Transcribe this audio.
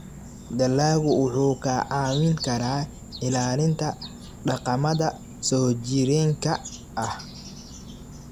Dalaggu wuxuu kaa caawin karaa ilaalinta dhaqamada soo jireenka ah.